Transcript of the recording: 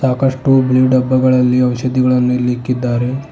ಕಸ್ಟೊಬ್ ನ್ಯೂ ಡಬ್ಬಗಳಲ್ಲಿ ಔಷಧಿಗಳನ್ನು ಇಲ್ಲಿ ಇಕ್ಕಿದ್ದಾರೆ.